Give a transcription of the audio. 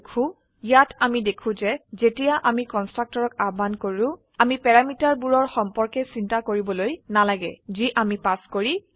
সেয়ে ইয়াত অামি দেখো যে যেতিয়া আমি কন্সট্ৰাকটৰক আহ্বান কৰো আমি প্যাৰামিটাৰ বোৰৰ সম্পৰ্কে চিন্তা কৰিবলৈ নালাগে যি আমি পাস কৰি আছো